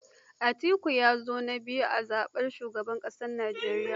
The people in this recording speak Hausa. Atiku ne ya zo na biyu a zaɓen shugaban ƙasar Nijeriya.